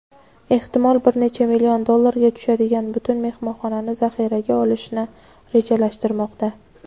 ehtimol bir necha million dollarga tushadigan butun mehmonxonani zaxiraga olishni rejalashtirmoqda.